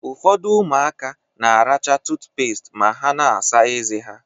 Ụfọdụ ụmụaka na-aracha tụtụpést ma ha na-asa ezé ha.